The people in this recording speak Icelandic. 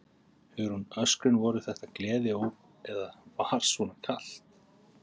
Hugrún: Öskrin, voru þetta gleðióp eða var svona kalt?